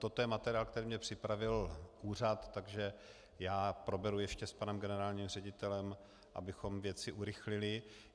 Toto je materiál, který mi připravil úřad, takže já proberu ještě s panem generálním ředitelem, abychom věci urychlili.